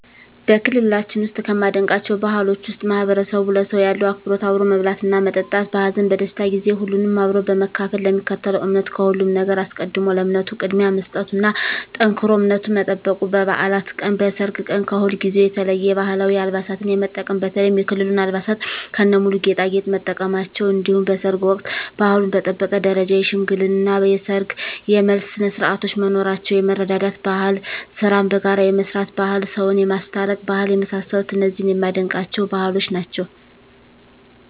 በክልላችን ውስጥ ከማደንቃቸው ባህሎች ውስጥ ማህበረሰቡ ለሰው ያለው አክብሮት አብሮ መብላትና መጠጣት በሀዘን በደስታ ጊዜ ሁሉንም አብሮ በመካፈል ለሚከተለው እምነት ከሁሉም ነገር አስቀድሞ ለእምነቱ ቅድሚያ መስጠቱና ጠንክሮ እምነቱን መጠበቁ በባዕላት ቀን በሰርግ ቀን ከሁልጊዜው የተለየ የባህላዊ አልባሳትን የመጠቀም በተለይም የክልሉን አልባሳት ከነሙሉ ጌጣጌጥ መጠቀማቸው እንዲሁም በሰርግ ወቅት ባህሉን በጠበቀ ደረጃ የሽምግልና የሰርግ የመልስ ስነስርዓቶች መኖራቸው የመረዳዳት ባህል ስራን በጋራ የመስራት ባህል ሰውን የማስታረቅ ባህል የመሳሰሉት እነዚህ የማደንቃቸው ባህሎች ናቸዉ።